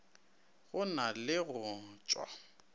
go na le go tšwa